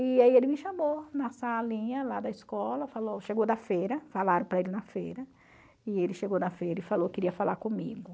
E aí ele me chamou na salinha lá da escola, falou chegou da feira, falaram para ele na feira, e ele chegou da feira e falou que queria falar comigo.